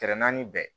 naani bɛɛ